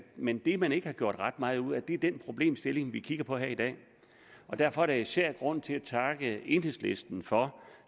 men det man ikke har gjort ret meget ud af er den problemstilling vi kigger på her i dag derfor er der især grund til at takke enhedslisten for